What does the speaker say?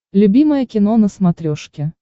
любимое кино на смотрешке